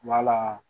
Wala